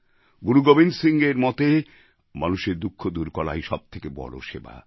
গুরু গোবিন্দ সিংএর মতে মানুষের দুঃখ দূর করাই সব থেকে বড়ো সেবা